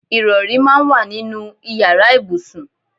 Ìrọ̀rí máa ń wà nínú ìyára ibùsùn.